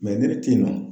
ne bɛ ten tɔ